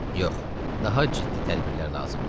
Yox, daha ciddi tədbirlər lazımdır.